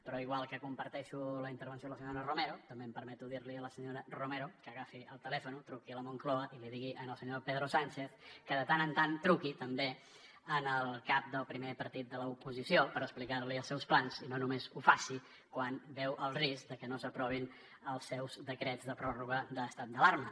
però igual que comparteixo la intervenció de la senyora romero també em permeto dir li a la senyora romero que agafi el telèfon truqui a la moncloa i li digui al senyor pedro sánchez que de tant en tant truqui també al cap del primer partit de l’oposició per explicar li els seus plans i no només ho faci quan veu el risc de que no s’aprovin els seus decrets de pròrroga de l’estat d’alarma